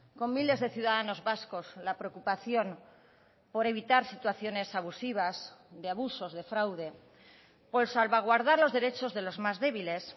con miles de ciudadanos vascos la preocupación por evitar situaciones abusivas de abusos de fraude por salvaguardar los derechos de los más débiles